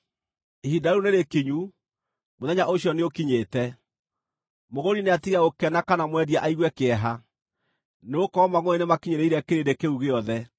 Ihinda rĩu nĩrĩkinyu, mũthenya ũcio nĩũkinyĩte. Mũgũri nĩatige gũkena kana mwendia aigue kĩeha, nĩgũkorwo mangʼũrĩ nĩmakinyĩrĩire kĩrĩndĩ kĩu gĩothe.